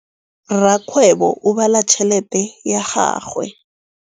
Rakgwêbô o bala tšheletê ya gagwe.